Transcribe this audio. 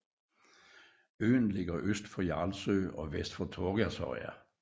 Øen ligger øst for Jarlsø og vest for Torgersøya